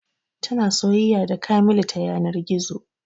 Tana soyayya da kamilu ta yanar gizo